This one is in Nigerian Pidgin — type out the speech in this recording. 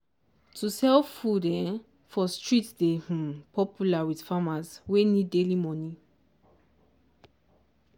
to sell food um for street dey um popular with farmers wey need daily money.